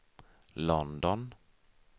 London